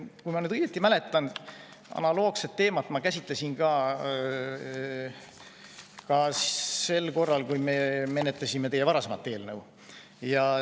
Kui ma nüüd õigesti mäletan, siis analoogset teemat ma käsitlesin ka sel korral, kui me menetlesime teie varasemat eelnõu.